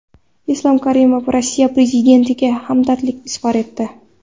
Islom Karimov Rossiya prezidentiga hamdardlik izhor etdi.